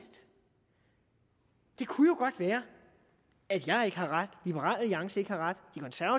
det kunne jo godt være at jeg ikke havde ret at liberal alliance ikke havde ret